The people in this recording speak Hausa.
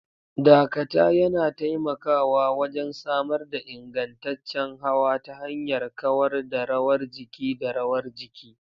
Dakata yana taimakawa wajen samar da ingantaccen hawa ta hanyar kawar da rawar jiki da rawar jiki.